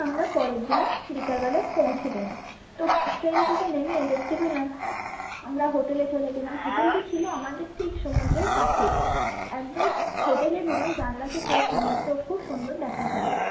আমরা পরের দিনে বিকাল বেলা পৌঁছে গেলাম তো train থেকে নেমে দেখতে পেলাম আমরা hotel এ চলে গেলাম hotel টি ছিল আমাদের ঠিক সমুদ্রের পাশেই একদম hotel এর room এর জানালা থেকে সমুদ্র খুব সুন্দর দেখা যাই।